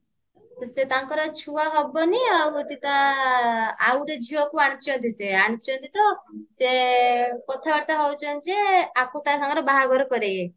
ସେ ତାଙ୍କର ଛୁଆ ହବନି ଆଉ ହଉଛି ତା ଆଉ ଗୋଟେ ଝିଅକୁ ଆଣିଛନ୍ତି ସେ ଆଣିଛନ୍ତି ତ ସେ କଥାବାର୍ତ୍ତା ହଉଛନ୍ତି ଯେ ୟାକୁ ତା ସାଙ୍ଗରେ ବାହାଘର କରେଇବେ